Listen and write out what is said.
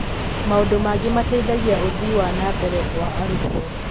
Maũndũ mangĩ mateithagia ũthii wa na mbere wa arutwo.